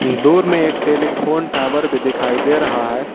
दूर में एक टेलीफोन टावर भी दिखाई दे रहा है।